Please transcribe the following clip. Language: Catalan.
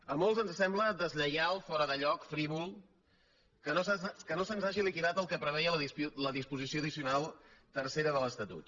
a molts ens sembla deslleial fora de lloc frívol que no se’ns hagi liquidat el que preveia la disposició addicional tercera de l’estatut